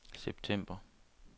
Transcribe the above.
september